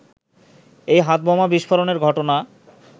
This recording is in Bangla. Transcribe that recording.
এই হাতবোমা বিস্ফোরণের ঘটনা